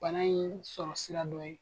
Bana in sɔrɔ sira dɔ ye.